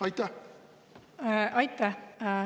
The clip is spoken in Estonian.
Aitäh!